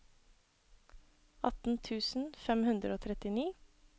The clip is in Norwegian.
atten tusen fem hundre og trettini